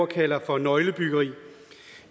kalder for nøglebyggeri